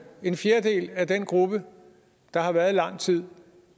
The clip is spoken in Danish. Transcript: en fjerdedel af den gruppe der har været lang tid